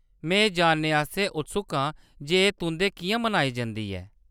में एह्‌‌ जानने आस्तै उत्सुक आं जे एह्‌‌ तुंʼदै किʼयां मनाई जंदी ऐ।